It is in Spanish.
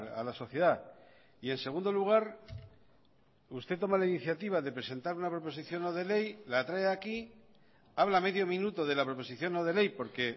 a la sociedad y en segundo lugar usted toma la iniciativa de presentar una proposición no de ley la trae aquí habla medio minuto de la proposición no de ley porque